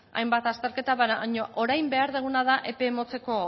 hainbat azterketa baina orain behar duguna da epe motzeko